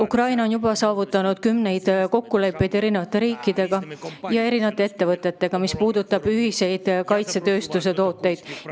Ukraina on juba saavutanud eri riikide ja ettevõtetega kümneid kokkuleppeid, mis puudutavad ühist kaitsetööstuse toodangut.